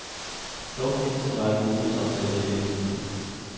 Dog findes der en række bonusaftaler i virksomhederne.